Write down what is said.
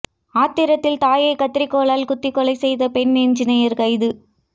ஆத்திரத்தில் தாயை கத்தரிக்கோலால் குத்திக் கொலை செய்த பெண் என்ஜினீயர் கைது